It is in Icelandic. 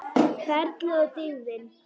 Ferlið og dygðin.